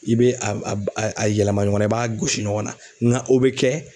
I be a a b a y a yɛlɛma ɲɔgɔn na i b'a gosi ɲɔgɔn na ŋa o be kɛ